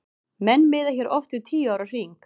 Menn miða hér oft við tíu ára hring.